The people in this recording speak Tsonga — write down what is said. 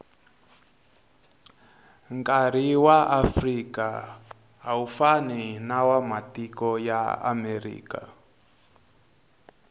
nkari waafrika awufani nawamatiko yaamerika